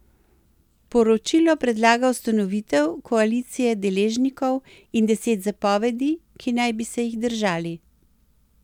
Poročilo predlaga ustanovitev koalicije deležnikov in deset zapovedi, ki naj bi se jih držali.